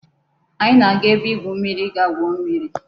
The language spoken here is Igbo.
Anyi na-aga ebe igwu mmiri I ga-gwuo mmiri